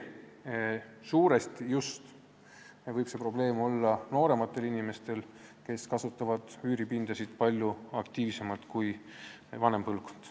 Suuresti võib see probleem olla seotud just nooremate inimestega, kes kasutavad üüripindasid palju aktiivsemalt kui vanem põlvkond.